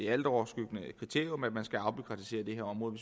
altoverskyggende kriterium at man skal afbureaukratisere det her område